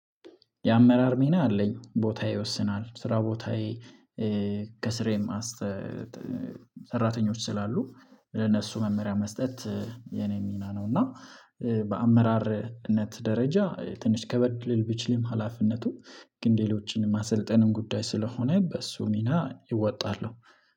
የአመራር ሚና አለኝ። ቦታዬ ይወስናል ስራ ቦታዬ ከስራዬም ሰራተኞች ስላሉ ለነሱ መመሪያ መስጠት የኔ ሚና ነው እና በአመራርነት ደረጃ ትንሽ ከበድ ሊል ቢችልም ሀላፊነቱ ግን ሌሎችንም ማሰልጠንም ጉዳይ ስለሆነ በሱ ሚና እወጣለው።